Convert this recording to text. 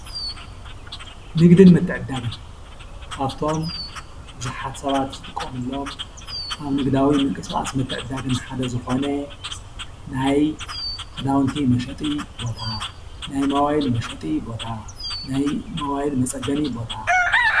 ንግድን ምትዕድዳግን ካፍቶም ብዙሓት ሰባት ዝጥቀምሎም ካብ ንግዳዊ ምንቅስቓስ ምትዕድዳግን ሓደ ዝኾነ ናይ ኽዳውንቲ መሸጢ ቦታ፣ ናይ ሞባይል መሸጢ ቦታ፣ ናይ ሞባይል መፀገኒ ቦታ...